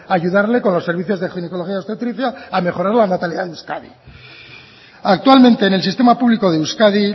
ayudarle con los servicios de ginecología obstetricia a mejorar la natalidad en euskadi actualmente en el sistema público de euskadi